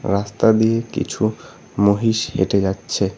রাস্তা দিয়ে কিছু মহিষ হেঁটে যাচ্ছে।